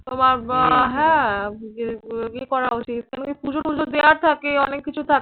তোমার আহ হ্যাঁ উচিৎ, পুজো পুজো দেওয়ার থাকে, অনেক কিছু থাকে